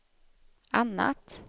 annat